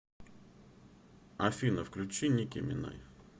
афина включи ники минаж